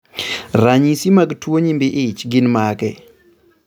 Ranyisi mag tuo nyimbi ich gin mage?